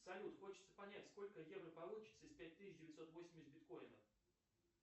салют хочется понять сколько евро получится из пять тысяч девятьсот восемьдесят биткоинов